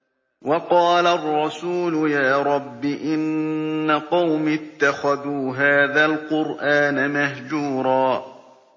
وَقَالَ الرَّسُولُ يَا رَبِّ إِنَّ قَوْمِي اتَّخَذُوا هَٰذَا الْقُرْآنَ مَهْجُورًا